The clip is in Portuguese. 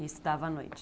E estudava à noite?